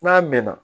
N'a mɛnna